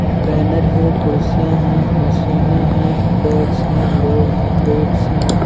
Banner है कुर्सियां है मसीने हैं बैग्स है लोग हैं वैटस् है।